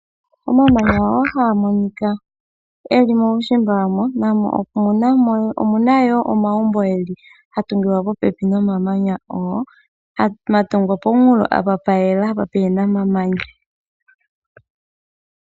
Omamanya ngono haga monika geli muushimba namo omu na wo omagumbo ga tungilwa popepi nomamanya ngoka, ga tungilwa pomunkulo mpa pwayela pwaahe na omamanya.